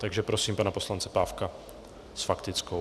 Takže prosím pana poslance Pávka s faktickou.